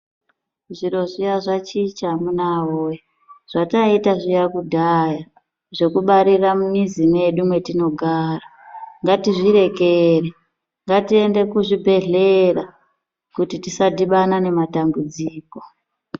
Zviro zviya zvichicha amunawee zvataiita zviya kudhaya zvekubarira mumwizi mwetinogara ngatizvirekere ngatiende kuzvibhehlera kuti tisadhibana nematambudziko.